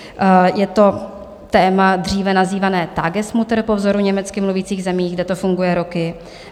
Je to téma dříve nazývané Tagesmutter po vzoru německy mluvících zemí, kde to funguje roky.